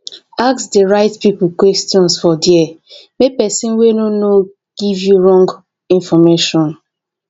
ask di right pipo questions for there make persin wey no know no give you wrong information